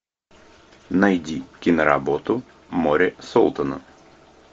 найди киноработу море солтона